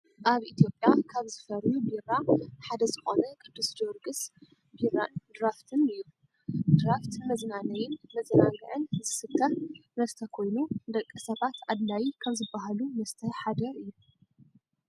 ኣብ ኢትዮጵያ ካብ ዝፈርዩ ቢራ ሓደ ዝኮነ ቅዱስ ጀውርግስ ቢራን ድራፍትን እዩ። ድራፍት ንመዝናነይን መዛናግዕን ዝስተ መስተ ኮይኑ ንደቂ ሰባት ኣድላይ ካብ ዝባሃሉ መስተ ሓደ እዩ።